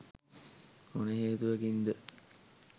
මොන හේතුවකින්ද